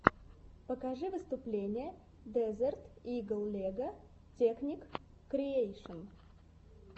покажи выступление дезерт игл лего текник криэйшн